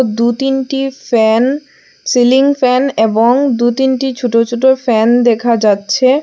দু-তিনটি fan ceiling fan এবং দু তিনটি ছোট ছোট ফ্যান দেখা যাচ্ছে।